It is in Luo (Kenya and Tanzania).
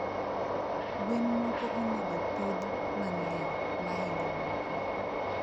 gwen moko onego opidh mangeny mahingo moko